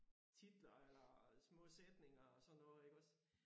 Titler eller små sætninger og sådan noget iggås